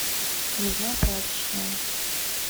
нужна прачечная